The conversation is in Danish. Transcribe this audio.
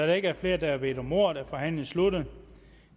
der ikke er flere der har bedt om ordet er forhandlingen sluttet